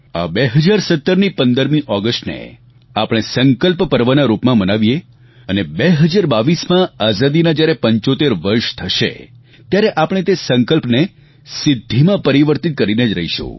આ 2017ની 15 ઓગસ્ટને આપણે સંકલ્પ પર્વના રૂપમાં મનાવીયે અને 2022માં આઝાદીના જ્યારે 75 વર્ષ થશે ત્યારે આપણે તે સંકલ્પને સિદ્ધીમાં પરિવર્તિત કરીને જ રહીશું